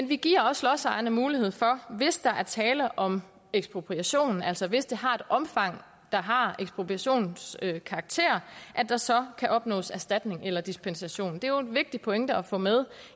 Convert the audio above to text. vi giver også lodsejerne mulighed for hvis der er tale om ekspropriation altså hvis det har et omfang der har ekspropriationskarakter at der så kan opnås erstatning eller dispensation det er jo en vigtig pointe at få med